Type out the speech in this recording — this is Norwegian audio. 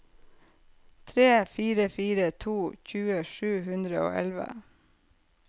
tre fire fire to tjue sju hundre og elleve